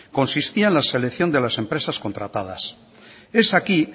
consistía en la selección de las empresas contratadas es aquí